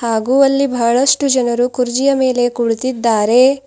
ಹಾಗು ಅಲ್ಲಿ ಬಹಳಷ್ಟು ಜನರು ಕುರ್ಜಿಯ ಮೇಲೆ ಕೂಳಿತಿದ್ದಾರೆ.